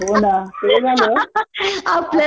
हो ना ते झालं